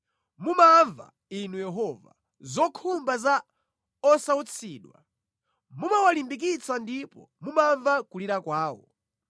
Mumamva Inu Yehova, zokhumba za osautsidwa; mumawalimbikitsa ndipo mumamva kulira kwawo.